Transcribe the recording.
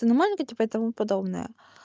ты не маленькая типа и тому подобное